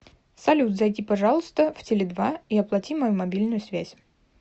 салют зайди пожалуйста в теле два и оплати мою мобильную связь